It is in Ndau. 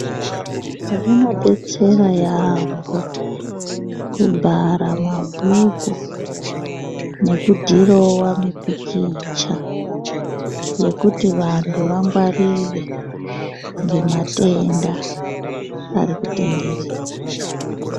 Zvinobetsera yaambo kubhara mabhuku nekudhirova mipikicha. Yekuti vantu vangwarire ngematenda ari kutenderera.